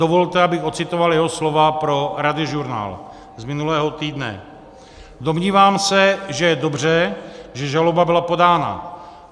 Dovolte, abych ocitoval jeho slova pro Radiožurnál z minulého týdne: "Domnívám se, že je dobře, že žaloba byla podána.